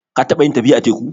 Ka taɓa yin tafiya a teku?